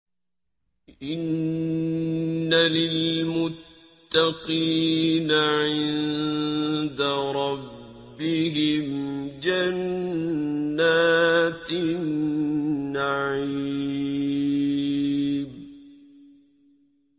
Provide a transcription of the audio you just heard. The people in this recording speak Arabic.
إِنَّ لِلْمُتَّقِينَ عِندَ رَبِّهِمْ جَنَّاتِ النَّعِيمِ